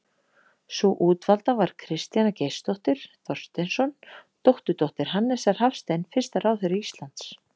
Sú útvalda var Kristjana Geirsdóttir Thorsteinsson, dótturdóttir Hannesar Hafstein fyrsta ráðherra Íslands.